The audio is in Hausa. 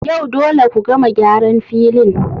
Yau dole ku gama gyaran filin